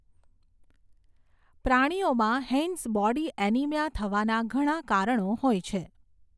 પ્રાણીઓમાં, Heinz body anaemia થવાના ઘણા કારણો હોય છે.